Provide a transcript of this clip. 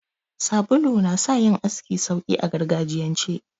Sabulu na sa yin aski sauki a gargajiyance.